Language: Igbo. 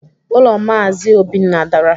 Ulo Mazi Obinna dara